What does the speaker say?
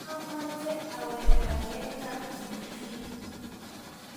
mameche awektegei Kapchirchir